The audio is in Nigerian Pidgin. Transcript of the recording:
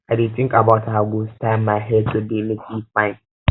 i dey think about how i go style my hair today make e fine